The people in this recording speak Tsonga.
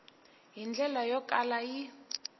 hi ndlela yo kala yi